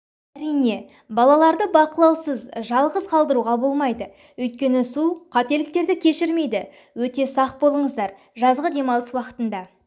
әрине балаларды бақылаусыз жалғыс қалтыруға болмайды өйткені су қателіктерді кешірмейді өте сақ болыңыздар жазғы демалыс уақытында